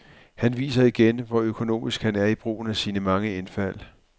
Han viser igen, hvor økonomisk han er i brugen af sine mange indfald.